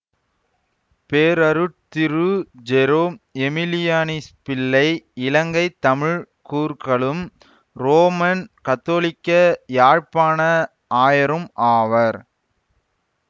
பேரருட்திரு Jerome எமிலியானிஸ்பிள்ளை இலங்கை தமிழ் கூர்க்களும் ரோமன்கத்தோலிக்க யாழ்ப்பாண ஆயரும் ஆவார்